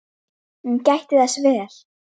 Hún gætti þess vel.